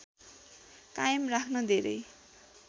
कायम राख्न धेरै